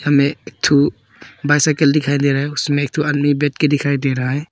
में एक ठो बाइसिकल दिखाई दे रहा है उसमें एक ठो आदमी बैठ के दिखाई दे रहा है।